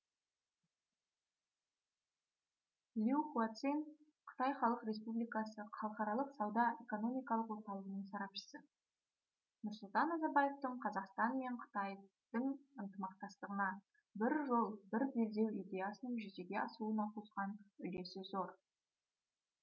лю хуацинь қытай халық республикасы халықаралық сауда экономикалық орталығының сарапшысы нұрсұлтан назарбаевтың қазақстан мен қытайдың ынтымақтастығына бір жол бір белдеу идеясының жүзеге асуына қосқан үлесі зор